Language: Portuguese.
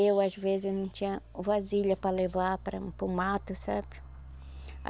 Eu, às vezes, não tinha vasilha para levar para o mato, sabe?